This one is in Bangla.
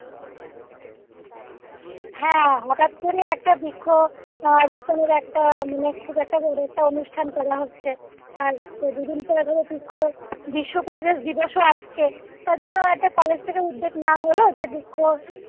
হ্যাঁ হঠাৎ করে একটা বৃক্ষ আহ খুব একটা মানে অনুষ্ঠান করে হচ্ছে তার দুদিন পরে বৃক্ষ গোটা পরিবেষ দিবসও আসছে তার জন্য একটা college থেকে উদ্যোগ নেওয়া হলো যে বৃক্ষ